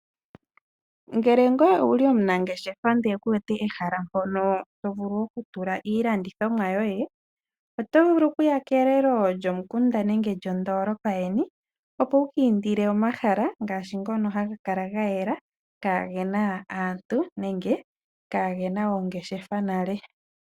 Ngele ngoye owu li omunageshefa ndele ku wete ehela mpono to vulu okutula iilandithomwa yoye, otovulu okuya kelelo lyomukunda nenge lyondoolopa yeni, opo wu kiindile omahala ngaashi ngono ha ga kala ga yela kaa ge na aantu nenge kaa ge na oongeshefa nale.